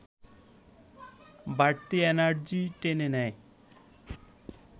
বাড়তি এনার্জি টেনে নেয়